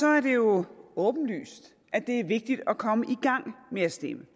er det jo åbenlyst at det er vigtigt at komme i gang med at stemme